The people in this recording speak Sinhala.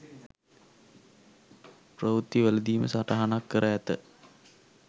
ප්‍රවෘත්තිවලදීම සටහනක් කර ඇත.